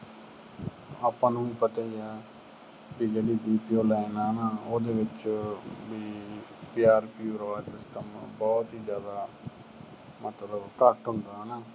ਆਪਾ ਨੂੰ ਵੀ ਪਤਾ ਈ ਆ ਵੀ ਜਿਹੜੀ ਦੂਜੀਓ line ਆ ਨਾ, ਉਹਦੇ ਵਿਚ ਪਿਆਰ ਪਿਓਰ ਵਾਲਾ ਕੰਮ ਬਹੁਤ ਹੀ ਜਿਆਦਾ ਮਤਲਬ ਘੱਟ ਹੁੰਦਾ ਹਨਾ